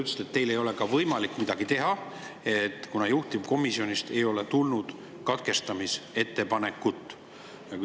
Te ütlesite, et teil ei ole võimalik midagi teha, kuna juhtivkomisjonist ei ole tulnud katkestamisettepanekut.